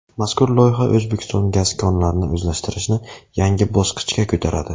Mazkur loyiha O‘zbekiston gaz konlarini o‘zlashtirishni yangi bosqichga ko‘taradi.